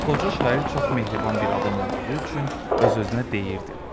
Qoca şair çox mehriban bir adam olduğu üçün öz-özünə deyirdi: